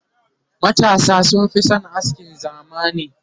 matasa sun Fi San askin zamani